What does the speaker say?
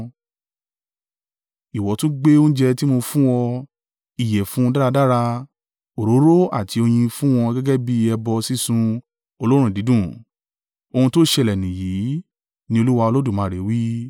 Ìwọ tún gbé oúnjẹ tí mo fún ọ—ìyẹ̀fun dáradára, òróró àti oyin—fún wọn gẹ́gẹ́ bí ẹbọ sísun olóòórùn dídùn; ohun tó ṣẹlẹ̀ nìyìí, ni Olúwa Olódùmarè wí.